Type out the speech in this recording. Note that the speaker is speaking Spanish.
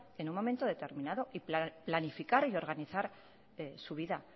en un momento determinado y planificar y organizar su vida